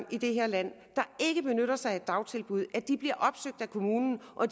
i det her land der ikke benytter sig af dagtilbud at de bliver opsøgt af kommunen og